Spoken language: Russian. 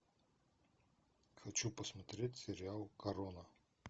хочу посмотреть сериал корона